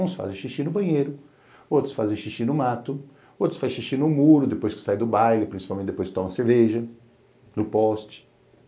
Uns fazem xixi no banheiro, outros fazem xixi no mato, outros fazem xixi no muro, depois que sai do baile, principalmente depois que toma cerveja, no poste.